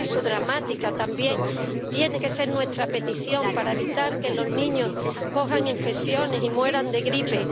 por eso, dramática también tiene que ser nuestra petición, para evitar que los niños cojan infecciones y mueran de gripe.